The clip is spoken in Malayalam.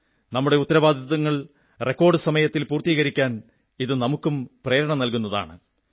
നമ്മുടെ ഉത്തരവാദിത്വങ്ങൾ റെക്കോഡ് സമയത്തിൽ പൂർത്തീകരിക്കാൻ ഇത് നമുക്കും പ്രേരണ നല്കുന്നതാണ്